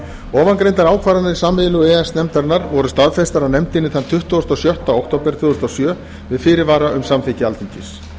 ofangreindar ákvarðanir sameiginlegu e e s nefndarinnar voru staðfestar af nefndinni þann tuttugasta og sjötta október tvö þúsund og sjö með fyrirvara um samþykki alþingis